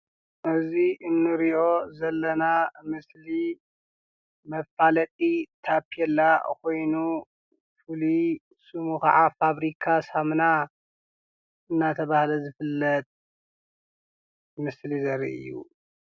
እዙይ እንርእዮ ዘለና ምስሊ መፋለጢ ታፔላ ኾይኑ ፍሉይ ስሙ ከዓ ፋብሪካ ሳምና እናተባህለ ዝፍለጥ ምስሊ ዘሪእይ እዩ።